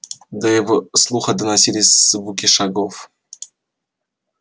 до его слуха доносились звуки шагов